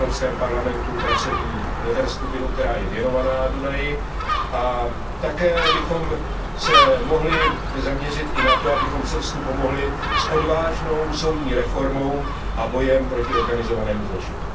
v Evropském parlamentu pracovní meziskupinu, která je věnovaná Dunaji, a také bychom se mohli zaměřit i na to, abychom Srbsku pomohli s odvážnou soudní reformou a bojem proti organizovanému zločinu.